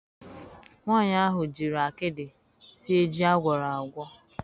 Nwanyị ahụ jiri akịdị sie ji a gwọrọ agwọ.